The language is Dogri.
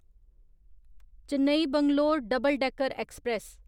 Chennai Bangalore double decker express